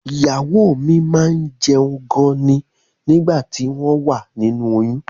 Ìyàwó mi máá ń jẹun gan ni nígbà tí wọ́n wà nínú oyún